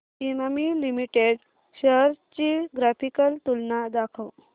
Emami limited shares ची graphical तुलना दाखव